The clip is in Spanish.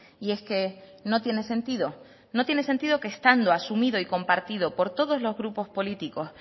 y es que no tiene sentido no tiene sentido que estando asumido y compartido por todos los grupos políticos